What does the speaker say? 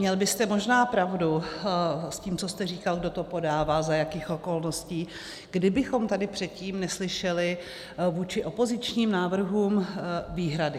Měl byste možná pravdu s tím, co jste říkal, kdo to podává, za jakých okolností, kdybychom tady předtím neslyšeli vůči opozičním návrhům výhrady.